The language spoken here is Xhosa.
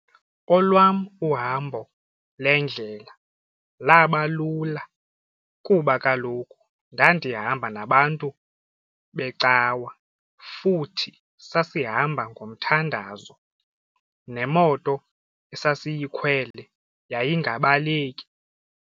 Olwam uhambo lendlela laba lula kuba kaloku ndandihamba nabantu becawa futhi sasihamba ngomthandazo nemoto esasiyikhwele yayingabaleki.